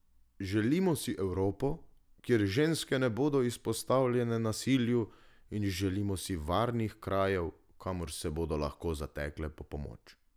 Želimo si Evropo, kjer ženske ne bodo izpostavljene nasilju, in želimo si varnih krajev, kamor se bodo lahko zatekle po pomoč.